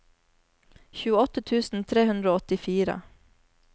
tjueåtte tusen tre hundre og åttifire